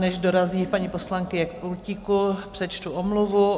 Než dorazí paní poslankyně k pultíku, přečtu omluvu.